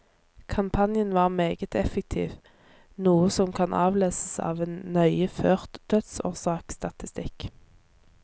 Kampanjen var meget effektiv, noe som kan avleses av en nøye ført dødsårsaksstatistikk.